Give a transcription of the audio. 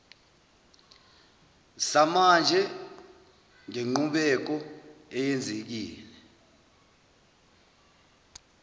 samanje ngenqubeko eyenzekile